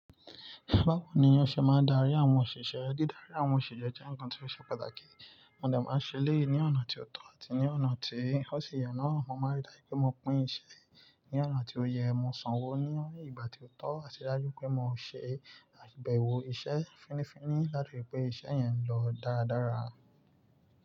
Báwo ni yóò ṣe máa darí àwọn òṣìṣẹ́? Dídarí àwọn òṣìṣẹ́ jẹ́ ǹkan tó ṣe pàtàkì. Wọn de máa ṣẹlẹyi ní ọ̀nà tí ó tọ́ àti ní ọ̀nà tí ó sì yọ́nà. Mo máa rí dájú pé mo pín iṣẹ́ ní ọ̀nà tí ó yẹ, mo sanwó ní ìgbà tí ó tọ́, àti dájú pé mo ṣe àgbẹ̀wọ̀ iṣẹ́ fínnífínní láti lè jé iṣẹ́ yẹn lọ dáradára.